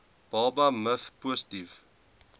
baba miv positief